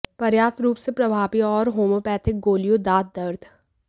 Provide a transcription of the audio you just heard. पर्याप्त रूप से प्रभावी और होम्योपैथिक गोलियों दांत दर्द